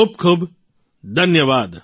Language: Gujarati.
ખૂબ ખૂબ ધન્યવાદ